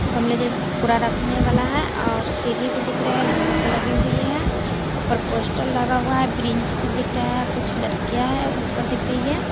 गमले जैसे कुरा रखने वाला है और सीरी भी दिख रहे है लोहा के लगे हुई है ऊपर पोस्टर लगा हुआ है ब्रेंच से दिख रहा है कुछ लड़कियाँ हैं ऊपर दिख रही है।